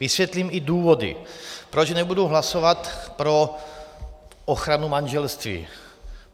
Vysvětlím i důvody, proč nebudu hlasovat pro ochranu manželství.